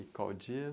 E qual o dia?